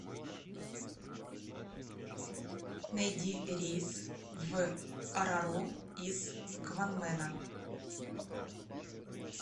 найди рейс в орору из кванмена